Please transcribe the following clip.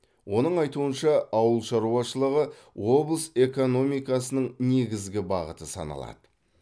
оның айтуынша ауыл шаруашылығы облыс экономикасының негізгі бағыты саналады